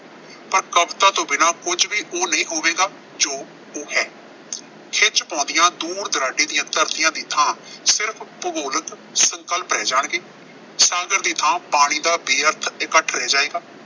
ਪਰ ਕਵਿਤਾ ਤੋਂ ਬਿਨਾਂ ਕੁਝ ਵੀ ਉਹ ਨਹੀਂ ਹੋਵੇਗਾ, ਜੋ ਉਹ ਹੈ। ਖਿੱਚ ਪਾਉਂਦੀਆਂ ਦੂਰ-ਦੁਰਾਡੇ ਦੀਆਂ ਧਰਤੀਆਂ ਦੀ ਥਾਂ ਸਿਰਫ਼ ਭੁਗੋਲਕ ਸੰਕਲਪ ਰਹਿ ਜਾਣਗੇ। ਟਾਂਗਰ ਦੀ ਥਾਂ ਪਾਣੀ ਦਾ ਬੇਅਰਥ ਇਕੱਠ ਰਹਿ ਜਾਏਗਾ।